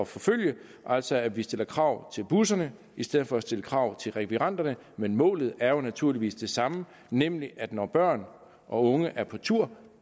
forfølge altså at vi stiller krav til busserne i stedet for at stille krav til rekvirenterne men målet er jo naturligvis det samme nemlig at når børn og unge er på tur